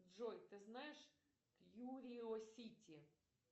джой ты знаешь кьюриосити